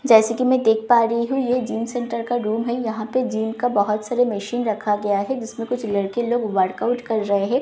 जैसे कि मैं देख पा रही है यह जिम सेंटर का रूम है यहां पे जिम का बहुत सारा मशीन रखा गया है जिसमें कुछ लड़के लोग वर्कआउट कर रहे हैं और --